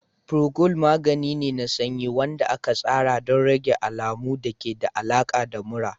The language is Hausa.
Procold magani ne na sanyi wanda aka tsara don rage alamun da ke da alaƙa da mura.